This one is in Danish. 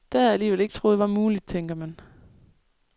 Det havde jeg alligevel ikke troet var muligt, tænker man.